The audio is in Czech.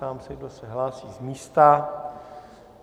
Ptám se, kdo se hlásí z místa.